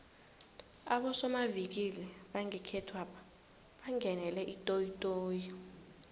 abosomavikili bangekhethwapha bangenele itoyitoyi